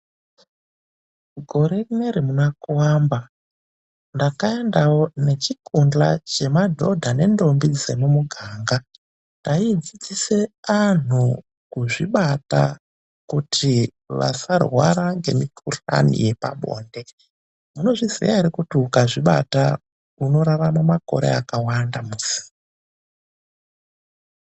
Gore rinere muna kuamba, ndakaendawo nechikuhla chemadhodha nendombi dzemumuganga, taifundisa andu kuzvibata kuti asarwara nemikuhlani yepabonde. Munozviziya ere ukazvibata unorarama makore akawanda, musi?